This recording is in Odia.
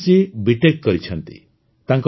ନିମିତ ଜୀ ବିଟେକ୍ କରିଛନ୍ତି